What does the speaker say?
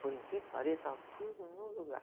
Por incrível que pareça, estava tudo no lugar.